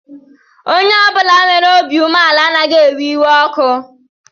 Onye ọ bụla nwere obi umeala anaghị ewe iwe ọkụ